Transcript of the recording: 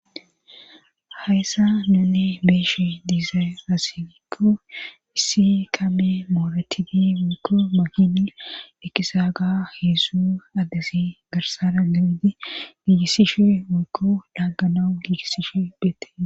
Hayssa nunne beeshe diizay nasinikko issi kame mooretidi wikko mahin ekisa ga heesu addesi garsara galidi giigissishe wikko dhaagganau giigissishe beette.